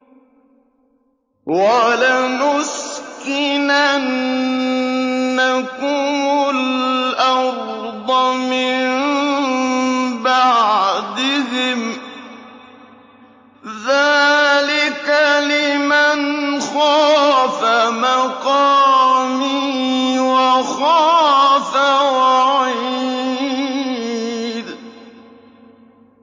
وَلَنُسْكِنَنَّكُمُ الْأَرْضَ مِن بَعْدِهِمْ ۚ ذَٰلِكَ لِمَنْ خَافَ مَقَامِي وَخَافَ وَعِيدِ